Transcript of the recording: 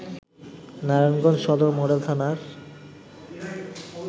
নারায়ণগঞ্জ সদর মডেল থানার